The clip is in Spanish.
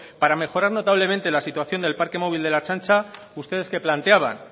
para mejorar notablemente la situación del parque móvil de la ertzaintza ustedes qué planteaban